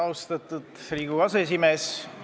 Austatud Riigikogu aseesimees!